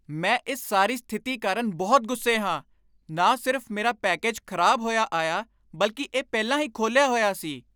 ਮੈਂ ਇਸ ਸਾਰੀ ਸਥਿਤੀ ਕਾਰਨ ਬਹੁਤ ਗੁੱਸੇ ਹਾਂ। ਨਾ ਸਿਰਫ ਮੇਰਾ ਪੈਕੇਜ ਖਰਾਬ ਹੋਇਆ ਆਇਆ, ਬਲਕਿ ਇਹ ਪਹਿਲਾਂ ਹੀ ਖੋਲ੍ਹਿਆ ਹੋਇਆ ਸੀ!